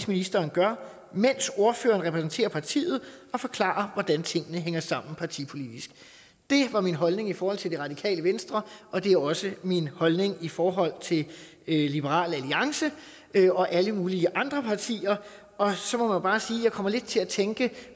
ministeren gør mens ordføreren repræsenterer partiet og forklarer hvordan tingene hænger sammen partipolitisk det var min holdning i forhold til det radikale venstre og det er også min holdning i forhold til liberal alliance og alle mulige andre partier og så må jeg bare sige jeg kommer til at tænke